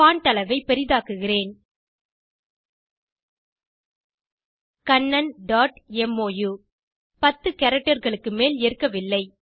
font அளவை பெரிதாக்குகிறேன் kannanமோ 10 characterகளுக்கு மேல் ஏற்கவில்லை